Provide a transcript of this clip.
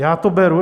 Já to beru.